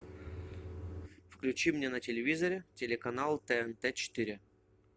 включи мне на телевизоре телеканал тнт четыре